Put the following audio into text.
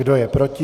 Kdo je proti?